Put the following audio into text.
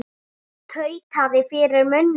Tautaði fyrir munni sér.